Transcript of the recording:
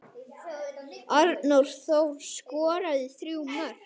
Arnór Þór skoraði þrjú mörk.